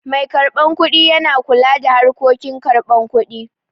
Mai karɓan kuɗi yana kula da harkokin karban kuɗi